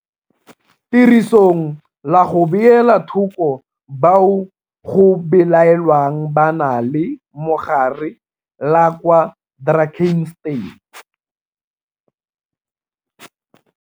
Tirisong la go beela thoko bao go belaelwang ba na le mogare la kwa Drakenstein.